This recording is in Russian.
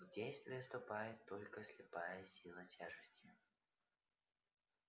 в действие вступает только слепая сила тяжести